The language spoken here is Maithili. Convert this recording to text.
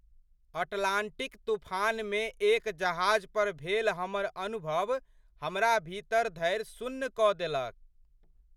अटलांटिक तूफानमे एक जहाज पर भेल हमर अनुभव हमरा भीतर धरि सुन्न कऽ देलक!